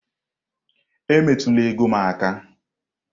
Emetụla ego m aka!